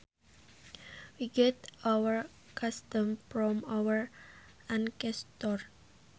We get our customs from our ancestors